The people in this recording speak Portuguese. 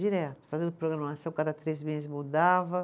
Direto, fazendo programação, cada três meses mudava.